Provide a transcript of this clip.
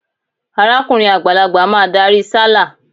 Arákùrin àgbàlagbà máa darí sálà.